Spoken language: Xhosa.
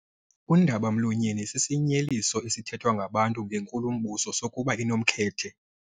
Undaba-mlonyeni sisinyeliso esithethwa ngabantu ngenkulumbuso sokuba inomkhethe.